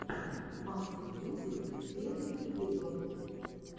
максимьюзик первый эпизод